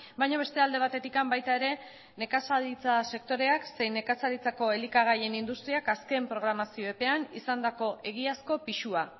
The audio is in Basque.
baina beste alde batetik baita ere nekazaritza sektoreak zein nekazaritzako elikagaien industriak azken programazio epean izandako egiazko pisua